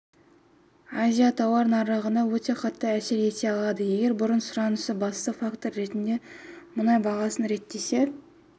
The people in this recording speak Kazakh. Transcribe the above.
азиятауар нарығына өте қатты әсер ете алады егер бұрын сұранысы басты фактор ретінде мұнай бағасын реттесе